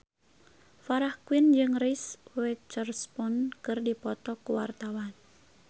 Farah Quinn jeung Reese Witherspoon keur dipoto ku wartawan